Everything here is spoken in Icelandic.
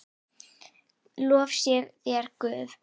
Lof sé þér, Guð.